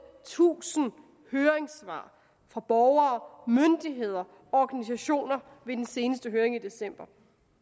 tusind høringssvar fra borgere myndigheder og organisationer ved den seneste høring i december